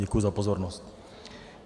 Děkuji za pozornost.